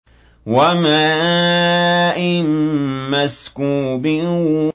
وَمَاءٍ مَّسْكُوبٍ